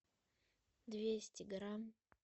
двести грамм